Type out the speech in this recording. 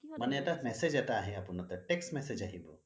মানে message এটা আহে আপোনাৰ তাত ত message আহিব